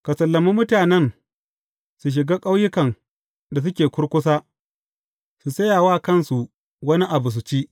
Ka sallami mutanen su shiga ƙauyukan da suke kurkusa, su sayi wa kansu wani abu, su ci.